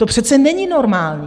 To přece není normální!